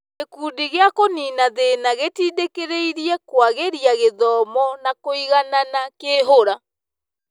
Gĩkundi gĩa kũnina thĩna gĩtindĩkĩrĩirie kũagĩria gũthoma na kũiganana kĩhura